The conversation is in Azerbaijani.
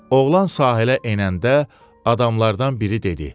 Oğlan sahilə enəndə adamlardan biri dedi: